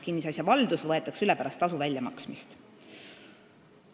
Kinnisasja valdus võetakse üle pärast tasu väljamaksmist.